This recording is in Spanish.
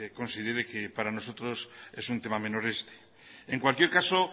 considere que para nosotros es un tema menor este en cualquier caso